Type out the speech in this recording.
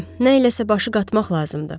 Hə, nə iləsə başı qatmaq lazımdır.